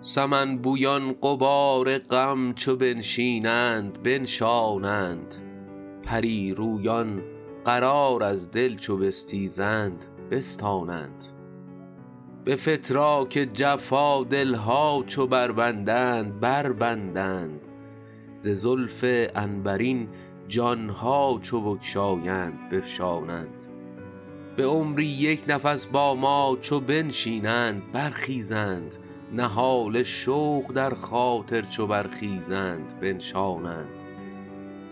سمن بویان غبار غم چو بنشینند بنشانند پری رویان قرار از دل چو بستیزند بستانند به فتراک جفا دل ها چو بربندند بربندند ز زلف عنبرین جان ها چو بگشایند بفشانند به عمری یک نفس با ما چو بنشینند برخیزند نهال شوق در خاطر چو برخیزند بنشانند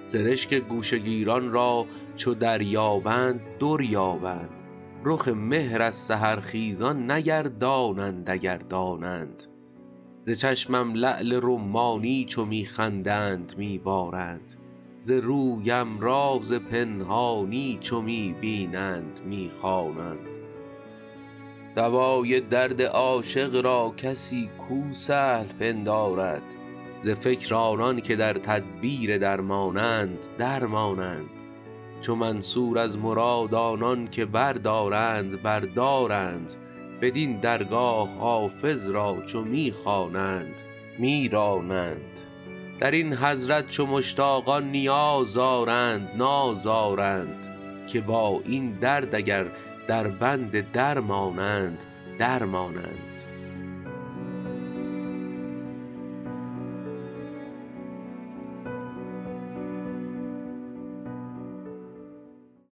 سرشک گوشه گیران را چو دریابند در یابند رخ مهر از سحرخیزان نگردانند اگر دانند ز چشمم لعل رمانی چو می خندند می بارند ز رویم راز پنهانی چو می بینند می خوانند دوای درد عاشق را کسی کو سهل پندارد ز فکر آنان که در تدبیر درمانند در مانند چو منصور از مراد آنان که بردارند بر دارند بدین درگاه حافظ را چو می خوانند می رانند در این حضرت چو مشتاقان نیاز آرند ناز آرند که با این درد اگر دربند درمانند در مانند